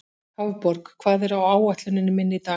Hafborg, hvað er á áætluninni minni í dag?